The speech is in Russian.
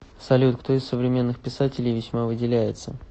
салют кто из современных писателей весьма выделяется